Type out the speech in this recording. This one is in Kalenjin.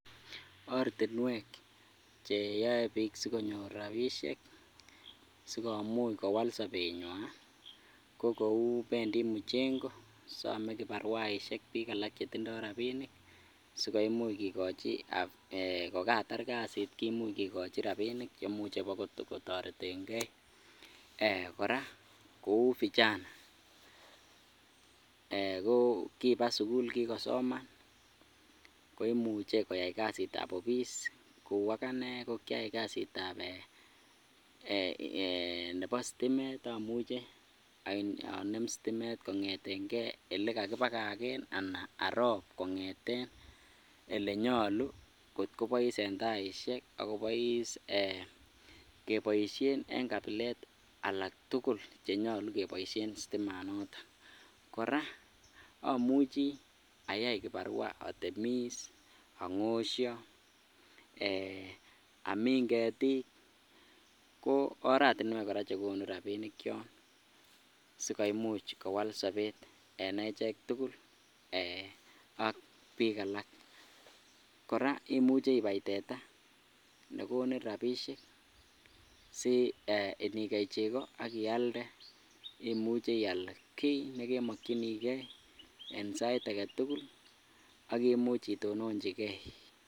Ortinwek cheyoe biik sikonyor rabishek sikomuch kowal sobenywan ko kou mchengo some kibarwaishek biik alak chetindo rabinik sikoimuch kiloche kokatar kasit kimuche kikochi rabinik cheimuche kobokotoreteng'e, eeh kora Kou vijana ko kibaa sukul kikosoman koimuche koyai kasitab ofis kou akane ko kiayai kasitab eeh nebo sitimet amuche onem sitimet kong'eteng'e olekakibakaken anan arob kong'eten olenyolu kot ko kobois en taishek ak kobois keboishen en kabilet alak tukul chenyolu keboishen sitimanoton, kora omuchi ayai kibarua atemis, ang'osho, eeh amin ketik ko oratinwek kora chekonu rabinik choon sikoimuch kowal sobet en echek tukul ak biik alak, kora imuche ibai tetaa nekonin rabishek si eeh inikei cheko ak ialde imuche ial kii nekemokyinike en sait aketukul ak imuch itononchike.